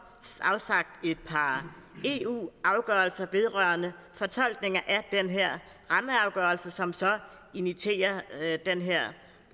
afsagt et par eu afgørelser vedrørende fortolkninger af den her rammeafgørelse som så imiterer den her